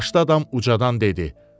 Yaşlı adam ucadan dedi: